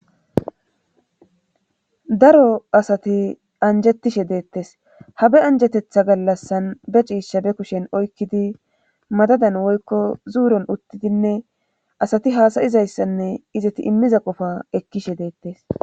daro asati anjettishe deettes habe anjatetha gallassan be ciisha be kushen oykkidi madadan woykko zuuron uttidinne asati haasayizayssanne izati immiza qofa ekkishe deettes